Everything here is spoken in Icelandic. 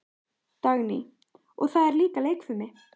Dagný: Og það er líka leikfimi.